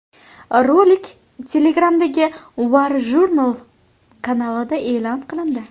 Rolik Telegram’dagi WarJournal kanalida e’lon qilindi .